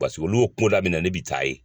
Basiki olu bɛ kunda min na ne bɛ taa yen.